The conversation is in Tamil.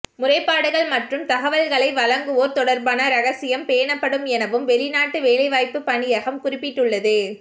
முறைப்பாடுகள் மற்றும் தகவல்களை வழங்குவோர் தொடர்பான இரகசியம் பேணப்படும் எனவும் வெளிநாட்டு வேலைவாய்ப்பு பணியகம் குறிப்பிட்டுள்ளது